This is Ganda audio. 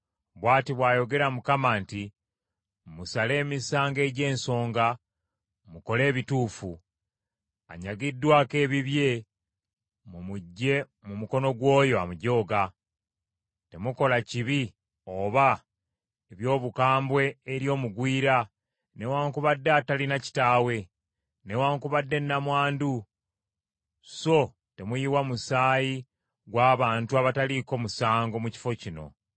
Bw’ati bw’ayogera Mukama nti, Musale emisango egy’ensonga, mukole ebituufu. Anyagiddwako ebibye mumuggye mu mukono gw’oyo amujooga. Temukola kibi oba eby’obukambwe eri omugwira, newaakubadde atalina kitaawe, newaakubadde nnamwandu so temuyiwa musaayi gw’abantu abataliiko musango mu kifo kino.